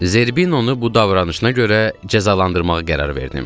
Zerbinonu bu davranışına görə cəzalandırmağa qərar verdim.